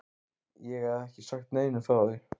Ég hef ekki sagt neinum frá því.